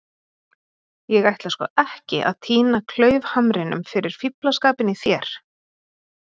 . ég ætla sko ekki að týna klaufhamrinum fyrir fíflaskapinn í þér.